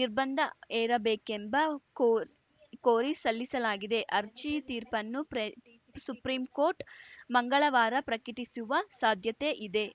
ನಿರ್ಬಂಧ ಹೇರಬೇಕೆಂಬ ಕೋ ಕೋರಿ ಸಲ್ಲಿಸಲಾಗಿದೆ ಅರ್ಜಿಯ ತೀರ್ಪನ್ನು ಪ್ರೇರ್ ಸುಪ್ರೀಂ ಕೋರ್ಟ್‌ ಮಂಗಳವಾರ ಪ್ರಕಟಿಸುವ ಸಾಧ್ಯತೆಯಿದೆ